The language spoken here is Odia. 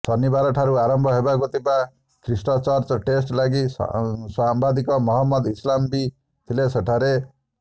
ଶନିବାରଠାରୁ ଆରମ୍ଭ ହେବାକୁ ଥିବା ଖ୍ରୀଷ୍ଟଚର୍ଚ ଟେଷ୍ଟ୍ ଲାଗି ସାମ୍ବାଦିକ ମହମ୍ମଦ ଇସ୍ଲାମ ବି ଥିଲେ ସେଠାରେ